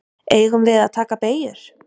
Eigum við að taka beygjur?